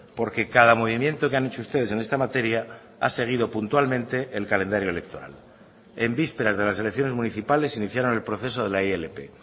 porque cada movimiento que han hecho ustedes en esta materia ha seguido puntualmente el calendario electoral en vísperas de las elecciones municipales iniciaron el proceso de la ilp